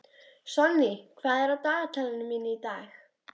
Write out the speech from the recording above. Sonný, hvað er á dagatalinu mínu í dag?